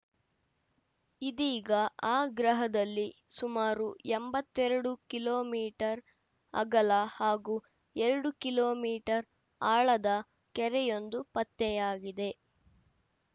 ಇದೀಗ ಆ ಗ್ರಹದಲ್ಲಿ ಸುಮಾರು ಎಂಬತ್ತೆರಡು ಕಿಲೋ ಮೀಟರ್ ಅಗಲ ಹಾಗೂ ಎರಡು ಕಿಲೋ ಮೀಟರ್ ಆಳದ ಕೆರೆಯೊಂದು ಪತ್ತೆಯಾಗಿದೆ